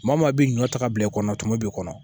Maa maa bɛ ɲɔ ta ka bila i kɔnɔ tumu b'i kɔnɔ